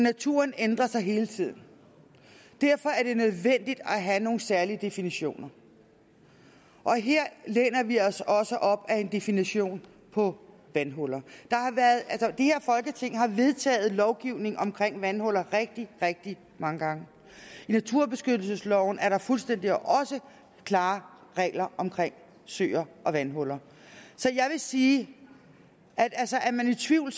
naturen ændrer sig hele tiden og derfor er det nødvendigt at have nogle særlige definitioner og her læner vi os også op ad en definition på vandhuller det her folketing har vedtaget lovgivning om vandhuller rigtig rigtig mange gange i naturbeskyttelsesloven er der også fuldstændig klare regler om søer og vandhuller så jeg vil sige at er man i tvivl